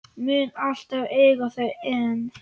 Mun alltaf eiga þau ein.